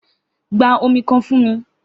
Gba omi kan fun mi!